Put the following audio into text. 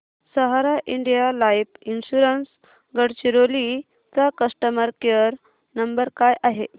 सहारा India life insurance Gadchiroli चा customer care number काय आहे